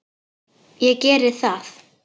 Ég geri það